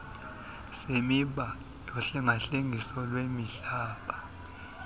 semiba yohlengahlengiso lwezemihlaba